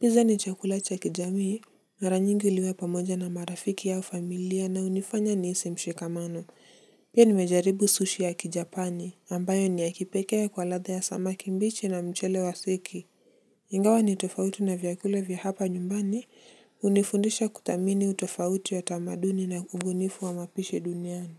Pizza ni chakula cha kijamii. Mara nyingi huliwa pamoja na marafiki au familia na hunifanya nihisi mshikamano. Pia nimejaribu sushi ya kijapani, ambayo ni ya kipekee kwa ladha ya samaki mbichi na mchele wa seki. Ingawa ni tofauti na vyakula vya hapa nyumbani hunifundisha kuthamini utofauti wa tamaduni na ubunifu wa mapishi duniani.